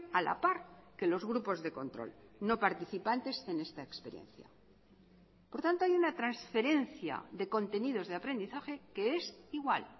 a la par que los grupos de control no participantes en esta experiencia por tanto hay una transferencia de contenidos de aprendizaje que es igual